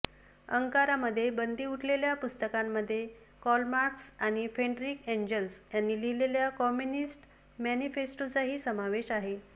अंकारामध्ये बंदी उठलेल्या पुस्तकांमध्ये कार्ल मार्क्स आणि फ्रेडरिक एंजल्स यांनी लिहिलेल्या कम्युनिस्ट मॅनिफेस्टोचाही समावेश आहे